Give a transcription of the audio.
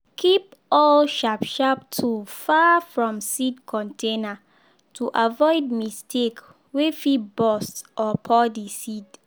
keep all sharp sharp tool far from seed container to avoid mistake wey fit burst or pour the seed.